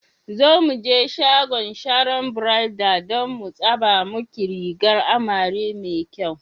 Zo muje shagon Sharon Bridals dan mu tsaba muke rigar amare mai kyau.